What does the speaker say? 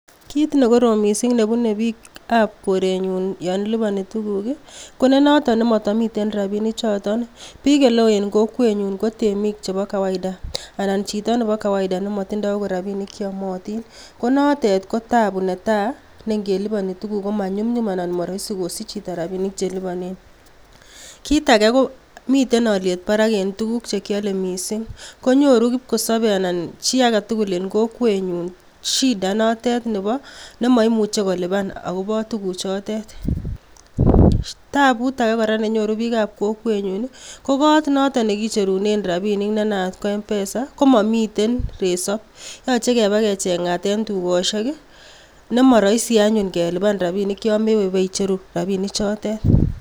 Kit negorom missing nebune biik ab koreny'un yon liponi tuguk i,konenoton nemotomi rabinik choton, biik oleo en kokwenyun ko temik chebo kawaida, anan chito nebo kawaida nemotinye okot rabinik cheomotin, konotet ko tabu natai neng'eliponi tuguk komany'umy'um anan moroisi kosich chito rabinik chelibonen, kit age komiten olyet barak en tuguk chekiole missing konyoru kipkosobe anan chi agetugul en kokwenyun shida inotet nemoimuche akobo shids inotet, tabut age neny'oru biik sb kokwenyun i ko koot noton nekicherunen rabinik ne naat ko m pesa komomiten resob yoche kecheng'at en tukosiek i nemoroisi anyun kelipan rabinik yon mewe ibeicheru rabinik chotet.